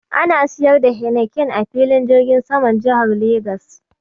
Ana siyar da Heineken a filin jirgin saman jihar Legas.